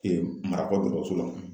marakɔ dɔgɔtɔrɔso la.